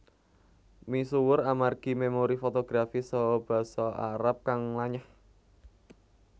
Misuwur amargi memori fotografis saha Basa Arab kang lanyah